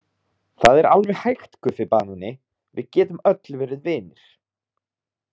Það er alveg hægt Guffi banani, við getum öll verið vinir.